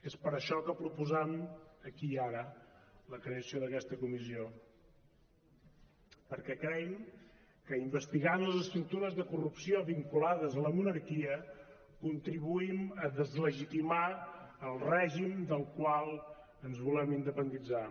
és per això que proposam aquí i ara la creació d’aquesta comissió perquè creim que investigant les estructures de corrupció vinculades a la monarquia contribuïm a deslegitimar el règim del qual ens volem independitzar